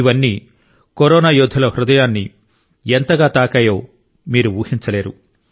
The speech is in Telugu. ఇవన్నీ కరోనా యోధుల హృదయాన్ని ఎంతగా తాకాయో మీరు ఊహించలేరు